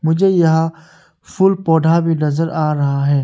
मुझे यहां फूल पौधा भी नजर आ रहा है।